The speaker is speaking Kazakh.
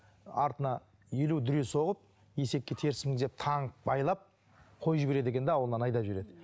артына елу дүре соғып есекке теріс мінгізіп таңып байлап қойып жібереді екен де ауылынан айдап жібереді